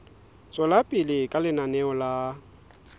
tswela pele ka lenaneo la